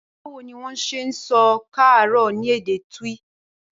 Báwo ni wón s̩e ń so̩ ‘e̩ káàárò̩’ ní èdè Twi?